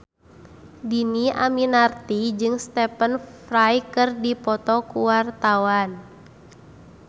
Dhini Aminarti jeung Stephen Fry keur dipoto ku wartawan